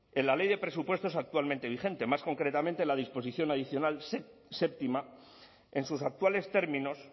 en la ley de presupuestos actualmente vigente más concretamente en la disposición adicional séptima en sus actuales términos